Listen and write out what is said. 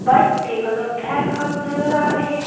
Bikes के colour black नजर आ रहे हैं।